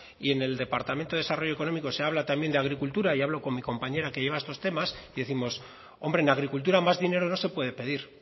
y en el departamento de desarrollo económico se habla también de agricultura y hablo con mi compañero que lleva también estos temas y décimos hombre en agricultura más dinero no se puede pedir